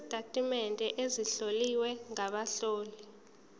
sezitatimende ezihlowe ngabahloli